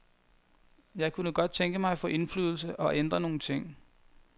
Jeg kunne godt tænke mig at få indflydelse og ændre nogle ting.